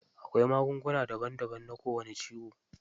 Akwai magunguna daban daban na kowani ciyo.